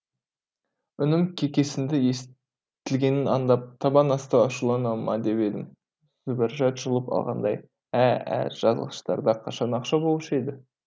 үнім кекесінді естілгенін аңдап табан асты ашулана ма деп едім зүбәржат жұлып алғандай ә ә жазғыштарда қашан ақша болушы еді